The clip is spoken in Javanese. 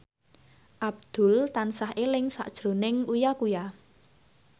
Abdul tansah eling sakjroning Uya Kuya